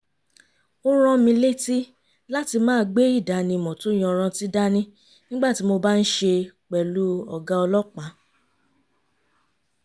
ó rán mi létí láti máa gbé ìdánimọ̀ tó yanrantí dání nígbà tí mo bá ń ṣe pẹ̀lú ọ̀gá ọlọ́pàá